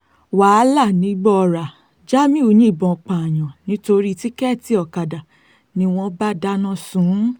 wàhálà nìgbọ̀ọ́ra jamiu yìnbọn pààyàn nítorí tíkẹ́ẹ̀tì ọ̀kadà ni wọ́n bá dáná sun ún